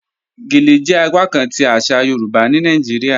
Gèlè jẹ apakán ti aṣa Yorùbá ni Nàìjíríà